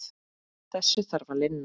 Þessu þarf að linna.